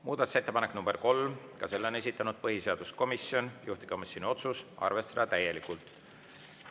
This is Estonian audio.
Muudatusettepanek nr 3, ka selle on esitanud põhiseaduskomisjon, juhtivkomisjoni otsus: arvestada täielikult.